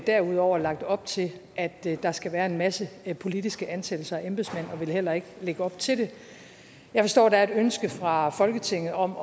derudover lagt op til at der der skal være en masse politiske ansættelser af embedsmænd vil heller ikke lægge op til det jeg forstår der er et ønske fra folketinget om